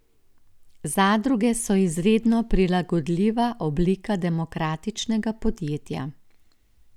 Zadruge so izredno prilagodljiva oblika demokratičnega podjetja.